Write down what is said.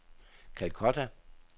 Calcutta